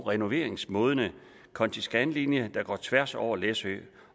og renoveringsmodne konti skan linje der går tværs over læsø